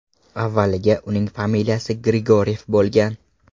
Avvaliga uning familiyasi Grigoryev bo‘lgan.